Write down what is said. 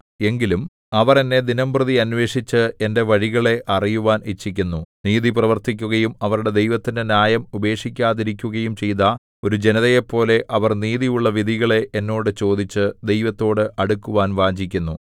എങ്കിലും അവർ എന്നെ ദിനംപ്രതി അന്വേഷിച്ച് എന്റെ വഴികളെ അറിയുവാൻ ഇച്ഛിക്കുന്നു നീതി പ്രവർത്തിക്കുകയും അവരുടെ ദൈവത്തിന്റെ ന്യായം ഉപേക്ഷിക്കാതെയിരിക്കുകയും ചെയ്ത ഒരു ജനതയെപ്പോലെ അവർ നീതിയുള്ള വിധികളെ എന്നോട് ചോദിച്ചു ദൈവത്തോടു അടുക്കുവാൻ വാഞ്ഛിക്കുന്നു